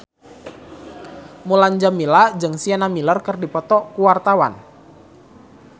Mulan Jameela jeung Sienna Miller keur dipoto ku wartawan